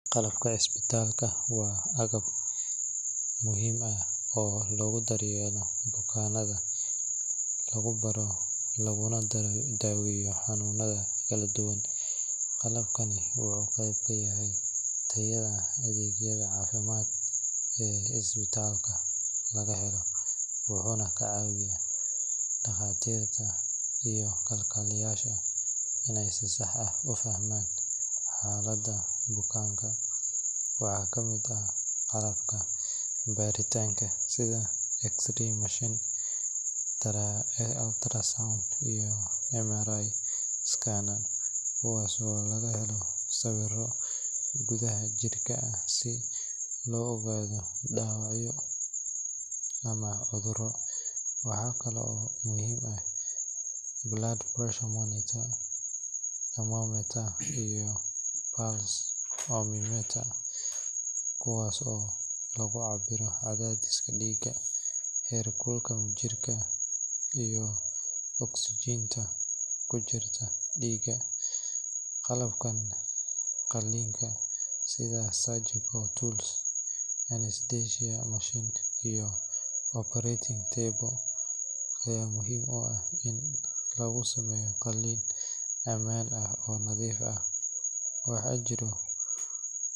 Qalabka isbitaalka waa agab muhiim ah oo lagu daryeelo bukaanada, laguna baaro laguna daaweeyo xanuunada kala duwan. Qalabkani wuxuu qeyb ka yahay tayada adeegyada caafimaad ee isbitaalka laga helo, wuxuuna ka caawiyaa dhaqaatiirta iyo kalkaaliyeyaasha in ay si sax ah u fahmaan xaaladda bukaanka. Waxaa ka mid ah qalabka baaritaanka sida X-ray machine, ultrasound, iyo MRI scanner kuwaas oo laga helo sawirro gudaha jirka ah si looga ogaado dhaawacyo ama cudurro. Waxaa kale oo muhiim ah blood pressure monitor, thermometer, iyo pulse oximeter kuwaas oo lagu cabbiro cadaadiska dhiigga, heerkulka jirka, iyo ogsajiinta ku jirta dhiigga. Qalabka qalliinka sida surgical tools, anesthesia machine, iyo operating table ayaa muhiim u ah in lagu sameeyo qalliin ammaan ah oo nadiif ah. Waxaa jira.